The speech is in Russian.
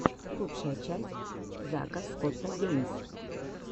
лучшая часть зака скотта геймс